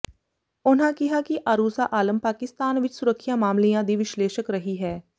ਉਨ੍ਹਾਂ ਕਿਹਾ ਕਿ ਆਰੂਸਾ ਆਲਮ ਪਾਕਿਸਤਾਨ ਵਿੱਚ ਸੁਰੱਖਿਆ ਮਾਮਲਿਆਂ ਦੀ ਵਿਸ਼ਲੇਸ਼ਕ ਰਹੀ ਹੈ